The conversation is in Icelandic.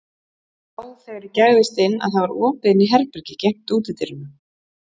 Sá þegar ég gægðist inn að það var opið inn í herbergi gegnt útidyrunum.